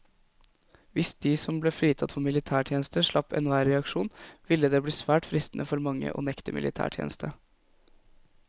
Hvis de som ble fritatt for militærtjeneste slapp enhver reaksjon, ville det bli svært fristende for mange å nekte militætjeneste.